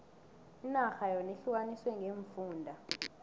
inarha yona ihlukaniswe ngeemfunda